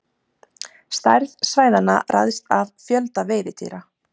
Stærð svæðanna ræðst af fjölda veiðidýra.